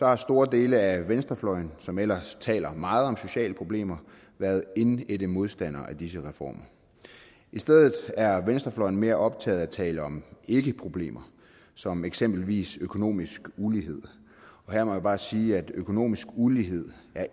har store dele af venstrefløjen som ellers taler meget om sociale problemer været indædte modstandere af disse reformer i stedet er venstrefløjen mere optaget af at tale om ikkeproblemer som eksempelvis økonomisk ulighed her må jeg bare sige at økonomisk ulighed